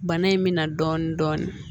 Bana in mina dɔɔnin dɔɔnin